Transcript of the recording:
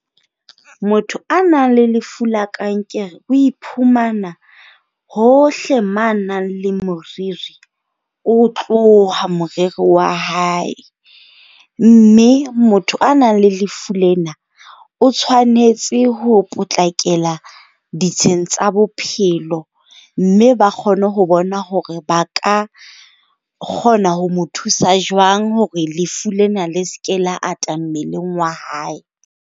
Motho a nang le lefu la kankere o iphumana hohle moo a nang le moriri, o tloha moriri wa hae. Mme motho a nang le lefu lena o tshwanetse ho potlakela ditsheng tsa bophelo. Mme ba kgone ho bona hore ba ka kgona ho mo thusa jwang hore lefu lena le se ke la ngata mmeleng wa hae.